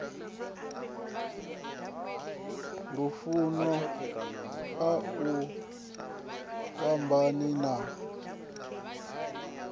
lufuno a ni fhambani na